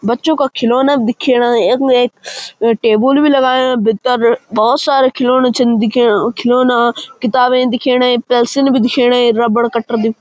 बच्चों का खिलौना दिखेणा यख मा एक अ टेबल भी लगायुं भित्तर भौत सारा खिलौना छन दिखेणा खिलौना किताबें दिखेणई पेंसिल भी दिखेणई रबड़ क़टर बि --